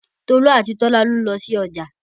Tolú àti Tọ́lá ló lọ sí ọjà